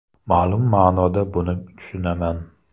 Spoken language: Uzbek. Ma’lum ma’noda buni tushunaman.